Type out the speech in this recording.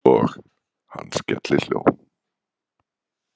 Og hann skellihló.